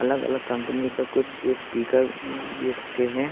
अलग अलग कम्पनी का कुछ स्पीकर भी रखे हैं।